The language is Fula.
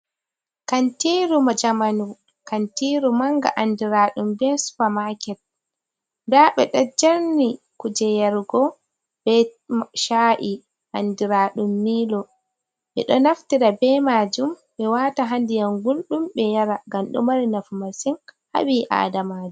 Kantiirur jamanu, kantiru mannga andiraɗum bee supa maaket, ndaa ɓeɗon darni kuje yarugo bee cha’i andiraaɗum miilo, ɓe ɗo naftira bee maajum ɓe wata haa ndiyam gulɗum ɓe yara ngam ɗo mari nafu masin haa ɓii aadamajo.